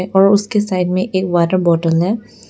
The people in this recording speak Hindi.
और उसके साइड में एक वाटर बोतल है।